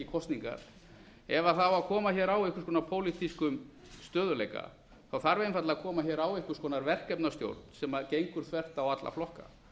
kosningar ef á að koma á einhvers konar pólitískum stöðugleika þarf einfaldlega að koma á einhvers konar verkefnastjórn sem gengur þvert á alla flokka